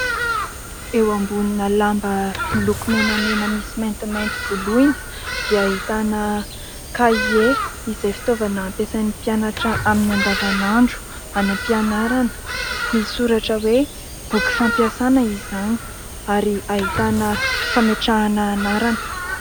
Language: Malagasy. Eo ambonina lamba miloko menamena, misy maintimainty, voloina dia ahitana kahie izay fitaovana ampiasain'ny mpianatra amin'ny andavanandro any am-pianarana. Misy soratra hoe boky fampiasana izany ary ahitana fametrahana anarana.